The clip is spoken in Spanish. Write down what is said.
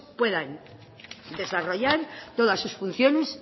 puedan desarrollar todas sus funciones